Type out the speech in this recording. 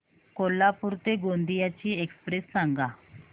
कोल्हापूर ते गोंदिया ची एक्स्प्रेस सांगा